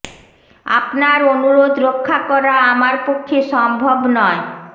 আপনা্র অনুরোধ রক্ষা করা আমার পক্ষে সম্ভব নয়